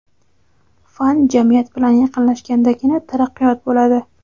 Fan jamiyat bilan yaqinlashgandagina taraqqiyot bo‘ladi.